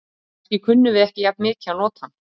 Kannski kunnum við ekki jafn mikið að nota hann.